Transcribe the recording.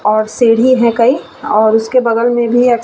और सीढ़ी है कई और उसके बगल में भी --